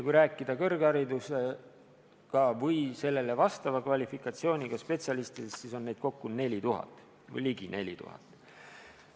Kui rääkida kõrgharidusega või sellele vastava kvalifikatsiooniga spetsialistidest, siis on neid kokku ligi 4000.